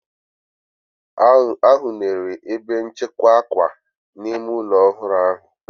Arụnyere ebe nchekwa akwa n'ime ụlọ ọhụrụ ahụ.